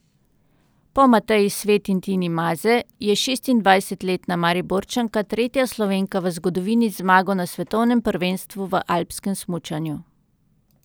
Po Mateji Svet in Tini Maze je šestindvajsetletna Mariborčanka tretja Slovenka v zgodovini z zmago na svetovnem prvenstvu v alpskem smučanju.